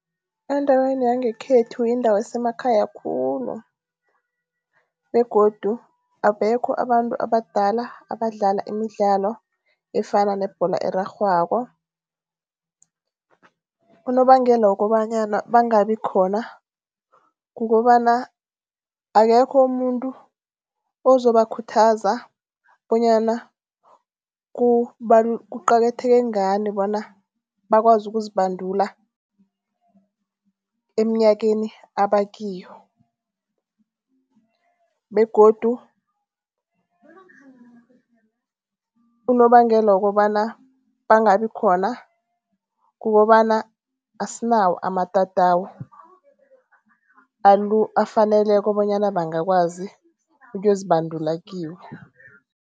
Endaweni yangekhethu iindawo esemakhaya khulu begodu abekho abantu abadala abadlala imidlalo efana nebholo erarhwako. Unobangela wokobanyana bangabi khona, kukobana akekho umuntu ozobakhuthaza bonyana kuqakatheke ngani bona bakwazi ukuzibandula eminyakeni abakiyo begodu unobangela wokobana bangabi khona, kukobana asinawo amatatawu afaneleko bonyana bangakwazi ukuyozibandula kiwo.